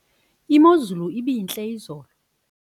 imozulu ibintle izolo